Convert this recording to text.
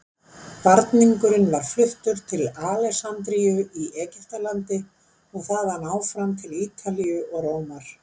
Varningurinn var fluttur til Alexandríu í Egyptalandi og þaðan áfram til Ítalíu og Rómar.